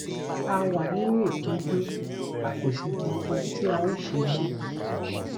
a wà nínú ìpọnjú a kò sì mọ ohun tí a ó ṣe mọ